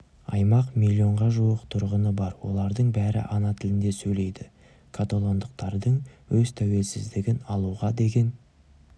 аймақ миллионға жуық тұрғыны бар олардың бәрі ана тілінде сөйлейді каталондықтардың өз тәуелсіздігін алуға деген